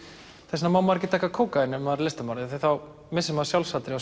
þess vegna má maður ekki taka kókaín maður er listamaður því þá missir maður